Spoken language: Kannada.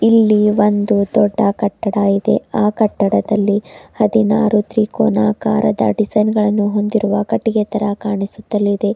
ಇಲ್ಲಿ ಒಂದು ದೊಡ್ಡ ಕಟ್ಟಡವಿದೆ ಆ ಕಟ್ಟಡದಲ್ಲಿ ಹದಿನಾರು ತ್ರಿಕೋನಾಕಾರದ ಡಿಸೈನ್ ಗಳನ್ನು ಹೊಂದಿರುವ ಕಟ್ಟಿಗೆ ತರ ಕಾಣಿಸುತ್ತಾ ಇದೆ.